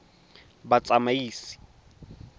batsamaisi